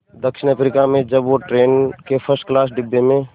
दक्षिण अफ्रीका में जब वो ट्रेन के फर्स्ट क्लास डिब्बे में